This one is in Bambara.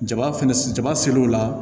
Jaba fɛnɛ jaba ser'o la